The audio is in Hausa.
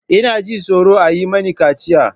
Ina jin tsoron a yi mini kaciya.